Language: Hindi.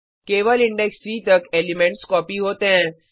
केवल इंडेक्स 3 तक एलिमेंट्स कॉपी होते हैं